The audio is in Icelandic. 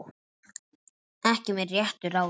Ekki með réttu ráði?